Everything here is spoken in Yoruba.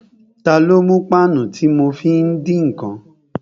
Ta ló mú páànù tí mo fi ń dín ǹkan?